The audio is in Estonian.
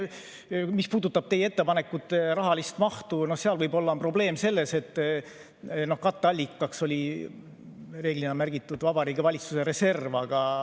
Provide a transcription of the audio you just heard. Mis puudutab teie ettepanekute rahalist mahtu, siis seal võib-olla on probleem selles, et katteallikaks oli reeglina märgitud Vabariigi Valitsuse reserv.